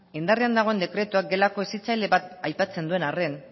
indarrean dagoen dekretua gelako hezitzaile bat aipatzen duen arren